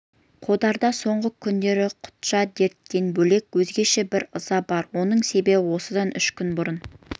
қодарда соңғы күндерде құтжан дертінен бөлек өзгеше бір ыза бар оның себебі осыдан үш күн бұрын